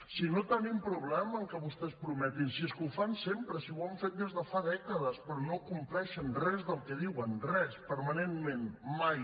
si no tenim problema en que vostès prometin si és que ho fan sempre si ho han fet des de fa dècades però no compleixen res del que diuen res permanentment mai